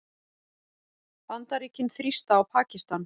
Bandaríkin þrýsta á Pakistan